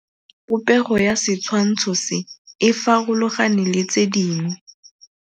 Popêgo ya setshwantshô se, e farologane le tse dingwe.